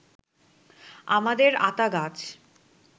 আমাদের আতা গাছ